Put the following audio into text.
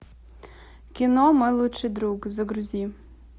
кино мой лучший друг загрузи